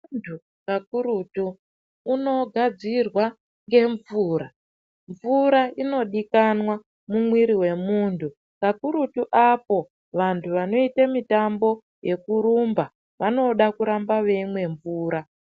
Munhu kakurutu unogadzirwe ngemvura. Mvura inodikanwa mumwiri mwemunhu kakurutu vaya vanoita mitambo yekurumba vanode kurambe veimwe mvura.